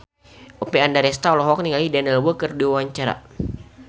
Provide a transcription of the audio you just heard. Oppie Andaresta olohok ningali Daniel Wu keur diwawancara